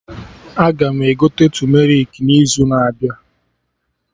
Aga m egote tumerik n'izu na abịa